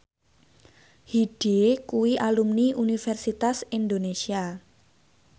Hyde kuwi alumni Universitas Indonesia